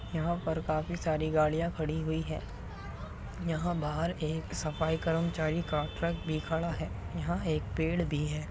यहाँ पर काफी सारी गाड़िया खड़ी हुई है। यहाँ बाहर एक सफाई कर्मचारी का ट्रक भी खड़ा है। यहाँ एक पेड़ भी है।